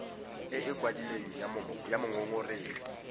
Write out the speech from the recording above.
e e kwadilweng ya mongongoregi